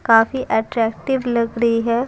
काफी अट्रैक्टिव लग रई है।